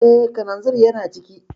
Eh, kalanzir yana ciki